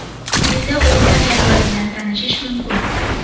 Quyida o‘yinlar jadvali bilan tanishish mumkin.